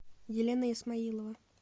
елена исмаилова